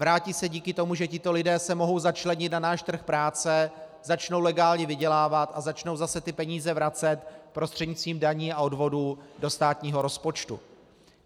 Vrátí se díky tomu, že tito lidé se mohou začlenit na náš trh práce, začnou legálně vydělávat a začnou zase ty peníze vracet prostřednictvím daní a odvodů do státního rozpočtu.